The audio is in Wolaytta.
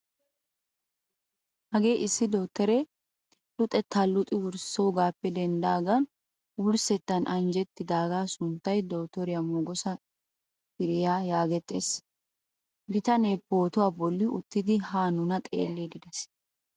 Hagee issi dottore luxettaa luxxidi wurssoogappe denddigan wurssettan anjjettidagaa sunttay dottoriyaa mogesa firiyaa yaagettiyaa bitanee pootuwaa bolli uttidi haa nuna xeelliidi de'ees.